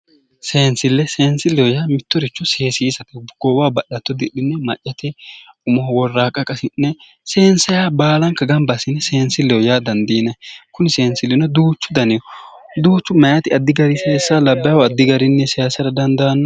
Seensille seensilleho yaa mittoricho seesiisate goowaho ba'lato didhine maccate umoho worraaqqa qasi'ne seensayiiha baalanka gamba assine seensilleho yaa dandiinanni kuni seensillino duuchu daniho duuchu mayiiti addi garinni labbaahu addi garinni seesara dandaanno